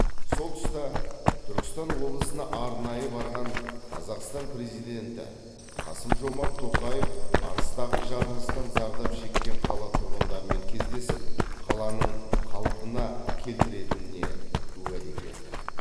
сол тұста түркістан облысына арнайы барған қазақстан президенті қасым жомарт тоқаев арыстағы жарылыстан зардап шеккен қала тұрғындарымен кездесіп қаланың қалпына келтірілетініне уәде берді